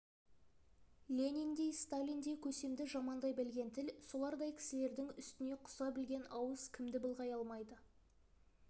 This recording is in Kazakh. лениндей сталиндей көсемді жамандай білген тіл солардай кісілердің үстіне құса білген ауыз кімді былғай алмайды